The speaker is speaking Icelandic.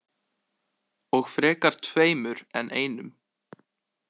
Og frekar tveimur en einum.